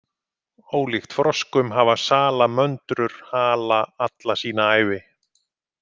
Ólíkt froskum hafa salamöndrur hala alla sína ævi.